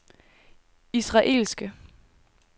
israelske